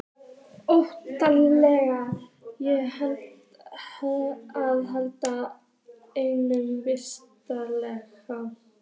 Óttaðist ég að lenda í einhverju veseni?